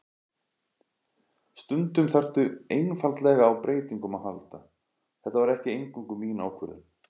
Stundum þarftu einfaldlega á breytingum að halda, þetta var ekki eingöngu mín ákvörðun.